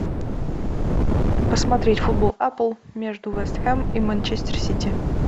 посмотреть футбол апл между вест хэм и манчестер сити